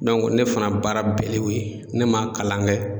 ne fana baara bɛɛ le y'o ye, ne ma kalan kɛ.